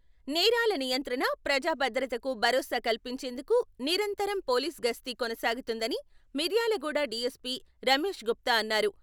నేరాల నియంత్రణ, ప్రజా భద్రతకు భరోసా కల్పిచేందుకు నిరంతరం పోలీస్ గస్తీ కొనసాగుతుందని మిర్యాలగూడ డిఎస్పి రమేష్ గుప్తా అన్నారు.